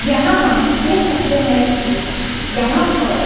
यहां हम देख सकते हैं कि यहां पर--